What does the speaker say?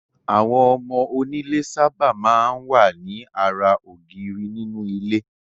Àwọn ọmọ onílé sábà máa ń wà ní ara ògiri nínú ilé.